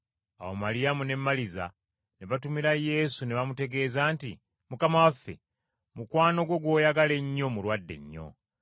Awo Maliyamu ne Maliza ne batumira Yesu ne bamutegeeza nti, “Mukama waffe, mukwano gwo gw’oyagala ennyo mulwadde nnyo.”